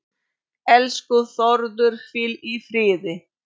Elsku Þórður, hvíl í friði.